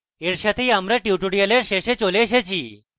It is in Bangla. এর সাথেই আমরা tutorial শেষে চলে এসেছি